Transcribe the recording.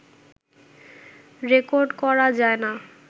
record করা যায় না